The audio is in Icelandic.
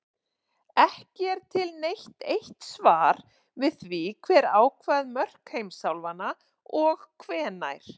Ekki er til neitt eitt svar við því hver ákvað mörk heimsálfanna og hvenær.